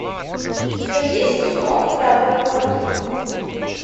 у тебя есть кино храбрый плавник